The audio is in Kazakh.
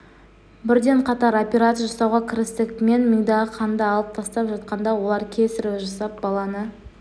бірден қатар операция жасауға кірістік мен мидағы қанды алып тастап жатқанда олар кесарево жасап баланы